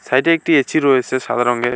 সাইডে একটি এঁছি রয়েছে সাদা রঙের।